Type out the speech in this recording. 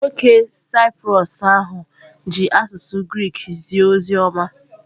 Nwoke Saịprọs ahụ ji asụsụ Grik zie ozi ọma.